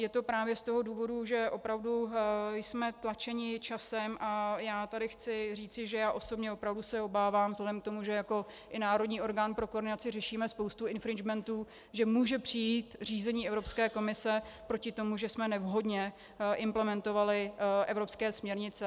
Je to právě z toho důvodu, že opravdu jsme tlačeni časem, a já tady chci říci, že já osobně opravdu se obávám vzhledem k tomu, že jako i národní orgán pro koordinaci řešíme spoustu infringementů, že může přijít řízení Evropské komise proti tomu, že jsme nevhodně implementovali evropské směrnice.